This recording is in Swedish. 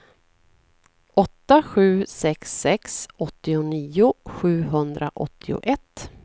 åtta sju sex sex åttionio sjuhundraåttioett